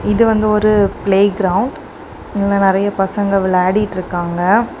இது வந்து ஒரு பிளே கிரவுண்ட் இங்க நெறைய பசங்க விளையாடிட்டு இருக்காங்க .